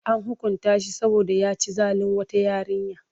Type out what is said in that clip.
An hukunta shi saboda ya ci zalin wata yarinya.